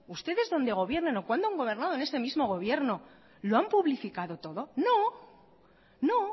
ustedes donde gobiernan o cuando han gobernado en este mismo gobierno lo han publificado todo no no